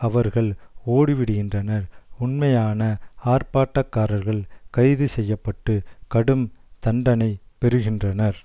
அவர்கள் ஓடிவிடுகின்றனர் உண்மையான ஆர்ப்பாட்டக்காரர்கள் கைதுசெய்யப்பட்டு கடும் தண்டனை பெறுகின்றனர்